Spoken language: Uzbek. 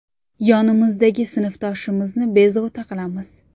Yonimizdagi sinfdoshimizni bezovta qilamiz.